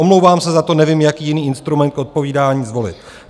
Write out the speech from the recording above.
Omlouvám se za to, nevím, jaký jiný instrument k odpovídání zvolit.